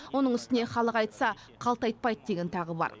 оның үстіне халық айтса қалт айтпайды деген тағы бар